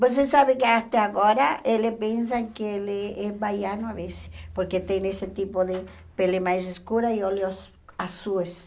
Você sabe que, até agora, ele pensa que ele é baiano, às vezes, porque tem esse tipo de pele mais escura e olhos azuis.